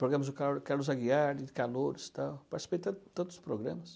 Programas do Carlo Carlos Aguiar, de Calouros, tal, participei tan, tantos programas.